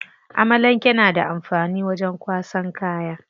Amalanke na da amfani wajen kwasan kaya.